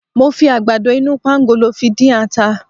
Mo fi àgbàdo inú pangolo fi dín ata.